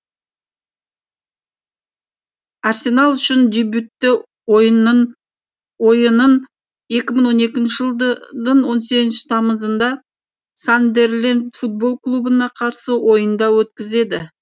арсенал үшін дебютті ойынын екі мың он екінші жылдың он сегізінші тамызында сандерленд футбол клубына қарсы ойында өткізеді